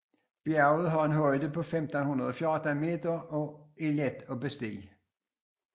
Bjerget har en højde på 514 meter og er let at bestige